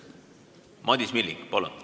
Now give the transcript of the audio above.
Madis Milling, palun!